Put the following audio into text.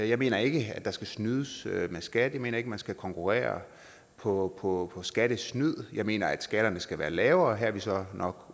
jeg mener ikke der skal snydes med skat jeg mener ikke at man skal konkurrere på på skattesnyd jeg mener at skatterne skal være lavere her er vi så nok